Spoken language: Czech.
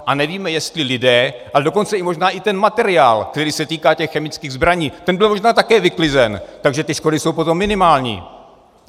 A nevíme, jestli lidé, ale dokonce možná i ten materiál, který se týká těch chemických zbraní, ten byl možná také vyklizen, takže ty škody jsou potom minimální.